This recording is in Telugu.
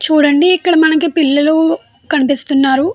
చూడండి ఇక్కడ మనకి పిల్లలు కనిపిస్తున్నాడు.